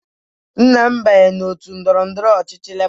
Nna m banyere òtù ndọrọ ndọrọ ọchịchị Lebọ.